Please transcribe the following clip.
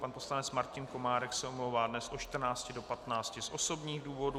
Pan poslanec Martin Komárek se omlouvá dnes od 14 do 15 z osobních důvodů.